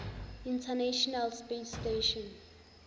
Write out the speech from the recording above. international space station